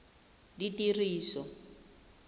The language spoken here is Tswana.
ditiriso